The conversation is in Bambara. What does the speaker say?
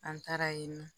An taara yen nɔ